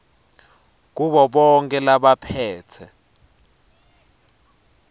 kubo bonkhe labaphetse